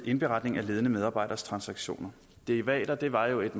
indberetning af ledende medarbejderes transaktioner derivater var jo et